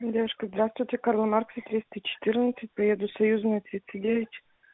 девушка здравствуйте карла маркса триста четырнадцать поеду союзная тридцать девять